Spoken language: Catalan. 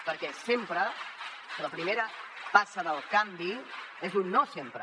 perquè sempre la primera passa del canvi és un no sempre